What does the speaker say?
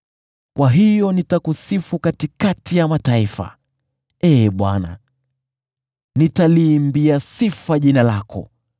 Kwa hiyo nitakusifu katikati ya mataifa, Ee Bwana ; nitaliimbia sifa jina lako.